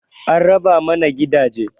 An raba mana gidaje